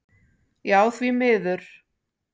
Já því miður.